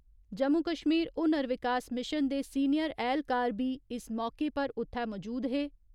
Jammu Kashmir Hunar Vikas mission दे senior ऐह्‌लकार बी इस मौके पर उ'त्थै मौजूद हे।